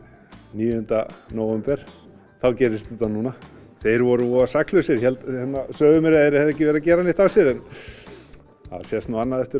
níunda nóvember og þá gerist þetta núna þeir voru voða saklausir sögðu mér að þeir hefðu ekki verið að gera neitt af sér en að sést nú annað eftir